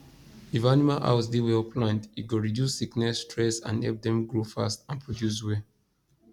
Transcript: if animal house dey well planned e go reduce sickness stress and help dem grow fast and produce well